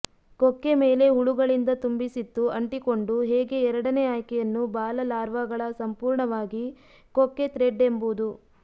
ಕೊಕ್ಕೆ ಮೇಲೆ ಹುಳುಗಳಿಂದ ತುಂಬಿಸಿತ್ತು ಅಂಟಿಕೊಂಡು ಹೇಗೆ ಎರಡನೇ ಆಯ್ಕೆಯನ್ನು ಬಾಲ ಲಾರ್ವಾಗಳ ಸಂಪೂರ್ಣವಾಗಿ ಕೊಕ್ಕೆ ಥ್ರೆಡ್ ಎಂಬುದು